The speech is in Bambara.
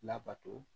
Labato